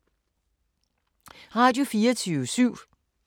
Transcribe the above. Radio24syv